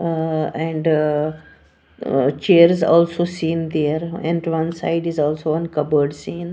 Ahh and uh chairs also seen there and one side is also one cupboard seen.